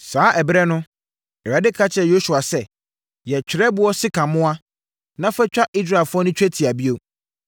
Saa ɛberɛ no, Awurade ka kyerɛɛ Yosua sɛ, “Yɛ twerɛboɔ sekammoa na fa twa Israelfoɔ no twetia bio.”